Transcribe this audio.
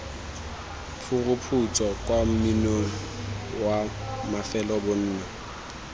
phuruphutso kwa monning wa mafelobonno